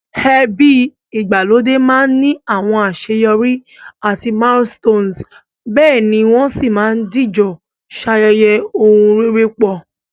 Ebi ìgbàlódé ma ni àwon àseyorí àti milestone, béèni won si ma dìjo sayẹyẹ oun rere pọ̀